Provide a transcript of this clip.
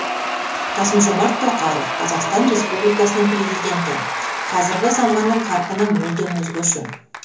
қасым жомарт тоқаев қазақстан республикасының президенті қазіргі заманның қарқыны мүлдем өзгеше